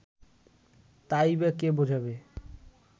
তাই বা কে বোঝাবে